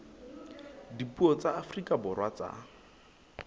dipuo tsa afrika borwa tsa